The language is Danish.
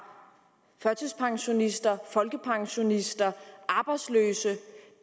førtidspensionister folkepensionister og arbejdsløse